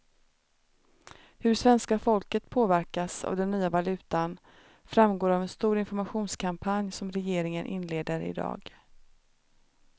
Hur svenska folket påverkas av den nya valutan framgår av en stor informationskampanj som regeringen inleder i dag.